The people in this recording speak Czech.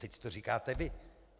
Teď to říkáte vy.